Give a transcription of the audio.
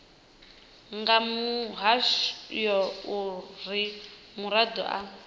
nga mulayo uri muraḓo a